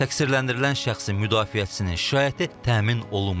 Təqsirləndirilən şəxsin müdafiəçisinin şikayəti təmin olunmayıb.